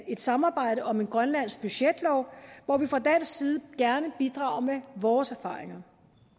samarbejde om en grønlandsk budgetlov hvor vi fra dansk side gerne bidrager med vores erfaringer